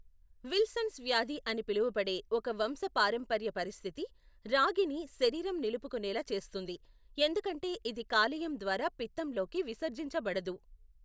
Wilson's వ్యాధి అని పిలువబడే ఒక వంశపారంపర్య పరిస్థితి రాగిని శరీరం నిలుపుకునేలా చేస్తుంది, ఎందుకంటే ఇది కాలేయం ద్వారా పిత్తంలోకి విసర్జించబడదు.